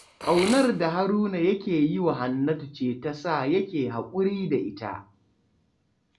Ƙaunar da Haruna yake yi wa Hannatu ce ta sa yake haƙuri da ita